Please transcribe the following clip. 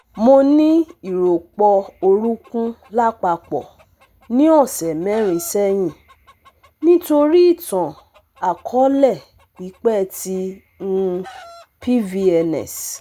Mo ni iropo orunkun lapapọ ni ọsẹ merin sẹhin nitori itan-akọọlẹ pipẹ ti um PVNS